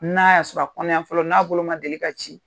N'a y'a sɔrɔ a kɔnɔyan fɔlɔ n'a bolo ma deli ka ci